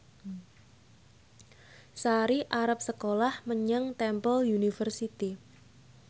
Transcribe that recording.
Sari arep sekolah menyang Temple University